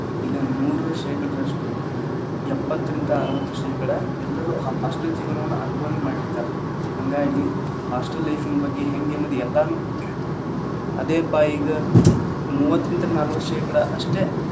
ಇದನ್ನ ನೋಡಿರುವ ಶೇಕಡದಷ್ಟು ಎಪ್ಪತ್ತರಿಂದ ಅರವತ್ತು ಶೇಕಡಾ ಎಲ್ರೂ hostel ಜೀವನವನ್ನ ಅನುಭವನೆ ಮಾಡಿರ್ತಾರ ಹಂಗಾಗಿ hostel life ನ ಬಗ್ಗೆ ಹೆಂಗೆ ಅನ್ನೋದ್ ಎಲ್ಲರಿಗೂ ಗೊತ್ತ್ ಇರುತ್ತ್ ಅದೇಪಾ ಈಗ ಮೂವತ್ತರಿಂದ ನಾಲವತ್ತ್ ಶೇಕಡಾ ಅಷ್ಟೇ.